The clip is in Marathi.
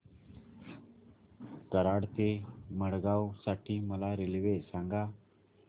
कराड ते मडगाव साठी मला रेल्वे सांगा